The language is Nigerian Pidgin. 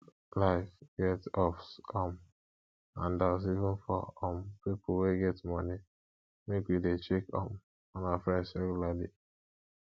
life get ups um and downs even for um pipo wey get moni make we de check um on our friends regularly